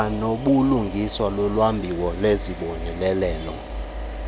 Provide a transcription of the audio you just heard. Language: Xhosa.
kwanobulungisa kulwabiwo lwezibonelelo